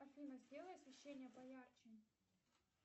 афина сделай освещение поярче